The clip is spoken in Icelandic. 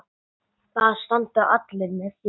Það standa allir með þér.